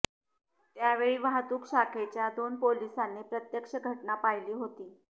त्यावेळी वाहतूक शाखेच्या दोन पोलिसांनी प्रत्यक्ष घटना पाहिली होती